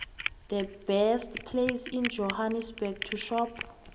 the best place in johannesburg to shop